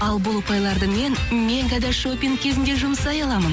ал бұл ұпайларды мен мегада шопинг кезінде жұмсай аламын